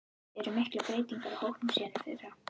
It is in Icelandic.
Eru miklar breytingar á hópnum síðan í fyrra?